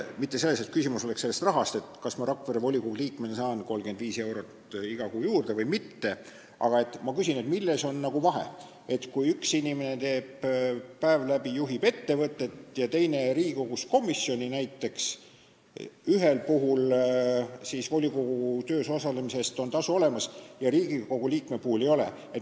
Mitte sellepärast, et küsimus oleks rahas, selles, kas ma Rakvere volikogu liikmena saan 35 eurot iga kuu juurde või mitte, aga ma küsin, milles on vahe, kui üks inimene päev läbi juhib ettevõtet ja teine Riigikogu komisjoni näiteks, ning ühel puhul on volikogu töös osalemise eest tasu olemas, aga Riigikogu liikme puhul seda ei ole.